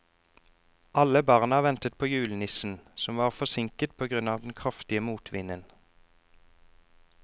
Alle barna ventet på julenissen, som var forsinket på grunn av den kraftige motvinden.